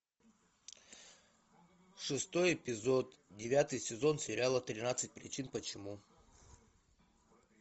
шестой эпизод девятый сезон сериала тринадцать причин почему